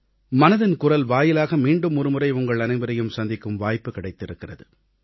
மனதின் குரல் வாயிலாக மீண்டும் ஒருமுறை உங்கள் அனைவரையும் சந்திக்கும் வாய்ப்பு கிடைத்திருக்கிறது